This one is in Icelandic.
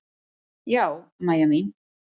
Já, Mæja mín.